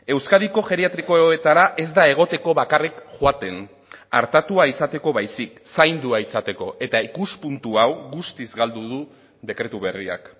euskadiko geriatrikoetara ez da egoteko bakarrik joaten artatua izateko baizik zaindua izateko eta ikuspuntu hau guztiz galdu du dekretu berriak